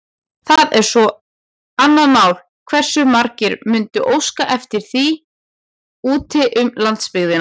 Það er svo annað mál, hversu margir mundu óska eftir því úti um landsbyggðina.